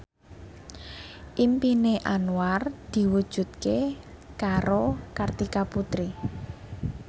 impine Anwar diwujudke karo Kartika Putri